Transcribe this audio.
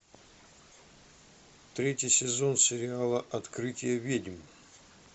третий сезон сериала открытие ведьм